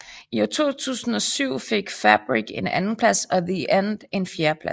I 2007 fik Fabric en andenplads og The End en fjerdeplads